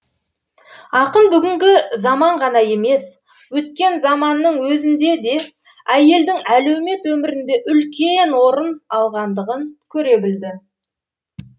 ақын бүгінгі заман ғана емес өткен заманның өзінде де әйелдің әлеумет өмірінде үлкен орын алғандығын көре білді